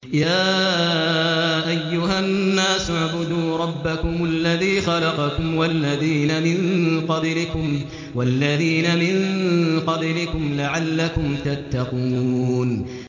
يَا أَيُّهَا النَّاسُ اعْبُدُوا رَبَّكُمُ الَّذِي خَلَقَكُمْ وَالَّذِينَ مِن قَبْلِكُمْ لَعَلَّكُمْ تَتَّقُونَ